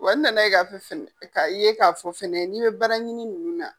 Wa n nana ye k'a fɔ k'a ye k'a fɔ funɛ n'i bɛ bara ɲini ninnu na